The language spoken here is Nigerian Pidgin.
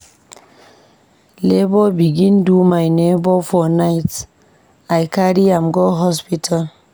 Labor begin do my neighbour for night, I carry am go hospital.